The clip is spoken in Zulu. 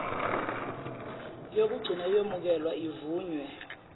yokugcina iyomukelwa ivunywe